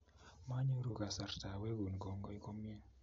Manyoru kasarta awekun kongoi komye